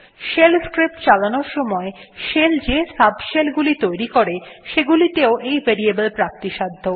shell scripts চালানোর সময় shell যে subshell গুলি তৈরী করে সেগুলি তেও এই ভেরিয়েবল প্রাপ্তিসাধ্য